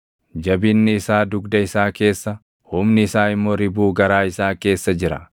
Jabinni isaa dugda isaa keessa, humni isaa immoo ribuu garaa isaa keessa jira!